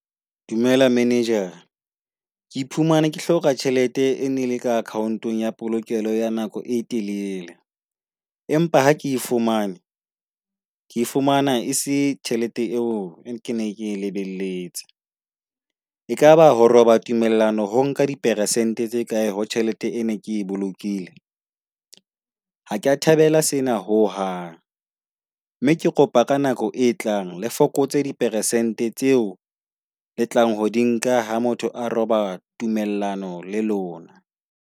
Dumela manager-ara. Ke iphumana ke hloka tjhelete e nele ka account-ong ya polokelo ya nako e telele. Empa ha ke fumane ke fumana ese tjhelete eo e ke ne ke lebelletse. E kaba ho roba tumellano ho nka di persente tse kae ho tjhelete ene ke bolokile? Ha kea thabela sena ho hang. Mme ke kopa ka nako e tlang le fokotse di persente tseo le tlang ho di nka ha motho a roba tumellano le lona.